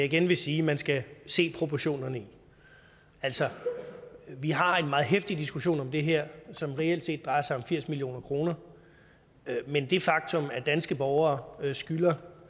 igen vil sige man skal se proportionerne i altså vi har en meget heftig diskussion om det her som reelt set drejer sig om firs million kr men det faktum at danske borgere skylder